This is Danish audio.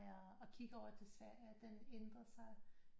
Og kigger over til Sverige den ændrer sig